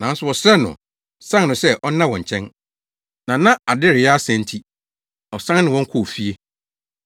Nanso wɔsrɛɛ no, san no sɛ ɔnna wɔn nkyɛn, na na ade reyɛ asa nti, ɔsan ne wɔn kɔɔ fie.